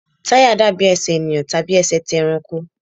Táyà dàbí Ẹsẹ̀ ènìyàn tàbí ẹsẹ̀ ti ẹranko.